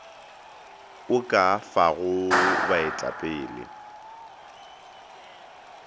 o ka a fago baetapele